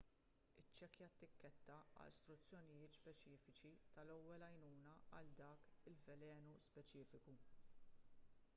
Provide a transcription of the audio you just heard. iċċekkja t-tikketta għal struzzjonijiet speċifiċi tal-ewwel għajnuna għal dak il-velenu speċifiku